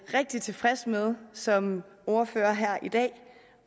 rigtig tilfreds med som ordfører her i dag